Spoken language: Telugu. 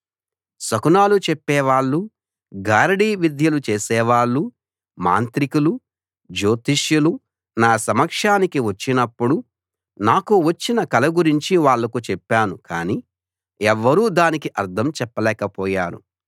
శకునాలు చెప్పేవాళ్ళు గారడీవిద్యలు చేసేవాళ్ళు మాంత్రికులు జ్యోతిష్యులు నా సమక్షానికి వచ్చినప్పుడు నాకు వచ్చిన కల గురించి వాళ్లకు చెప్పాను కానీ ఎవ్వరూ దానికి అర్థం చెప్పలేకపోయారు